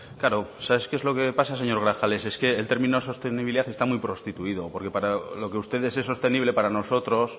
claro sabes qué es lo que pasa señor grajales es que el término sostenibilidad está muy prostituido porque para lo que ustedes es sostenible para nosotros